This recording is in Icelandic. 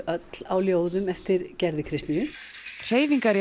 öll á ljóðum eftir Gerði Kristnýju hreyfingar